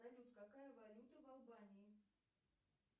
салют какая валюта в албании